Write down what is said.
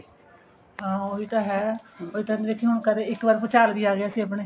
ਹਾਂ ਉਹੀ ਤਾਂ ਹੈ ਉਸ time ਦੇਖੀ ਹੁਣ ਕਦੇ ਇੱਕ ਵਾਰੀ ਭੂਚਾਲ ਵੀ ਆ ਗਿਆ ਈ ਆਪਣੇ